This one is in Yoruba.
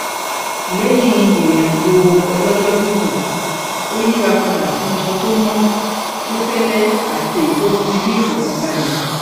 lẹyìn ìrìnàjò ọlọjọgígùn ó yíra padà sínú aṣọ tó mọ tó fẹlẹ àti èyí tó fún ni ní ìfọkànbalẹ